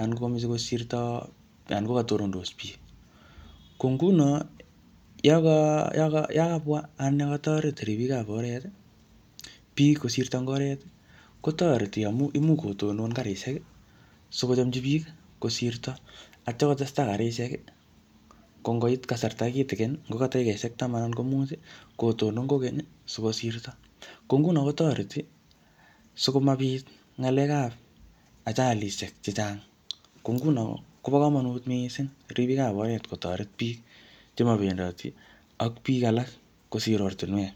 anan ngo katonondos biik. Ko nguno, yakabwa ana yokotoret ribik ab oret, biik kosirto eng oret, kotoreti amu imuch kotonon karishek sikochomchi biik kosirto. Atya kotestai karishek, ko ngokoit kasarta kitikin, ngo ka dakikeshek taman anan ko mut, kotonon kokeny, sikosirto. Ko nguno kotoreti, sikomaa biik ngalekab ajalishek chechang. Ko nguno, kobo komonut missing ribikab oret kotoret biik chemo bendoti ak biik alak kosir ortunwek.